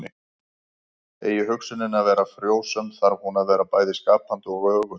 Eigi hugsunin að vera frjósöm þarf hún að vera bæði skapandi og öguð.